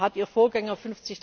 Da hat Ihr Vorgänger